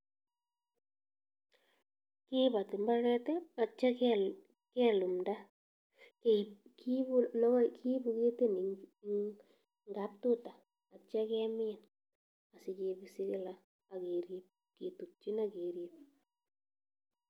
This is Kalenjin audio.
Kibotii imbaret i,ak yeityoo kelumdaa kibuu ketit nekitien. Ngab ruta, ak yeityoo keminsikibisi kila ak kerb kitutyiin ak kerib